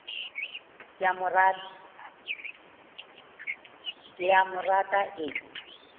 ke a mo rata e